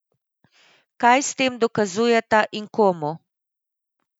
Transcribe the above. Kaj s tem dokazujeta in komu?